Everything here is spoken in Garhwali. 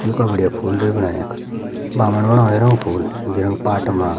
योका बढ़िया फूल रे बणायु यख बामण बणायु एरो फूल जयूँ पाट मा।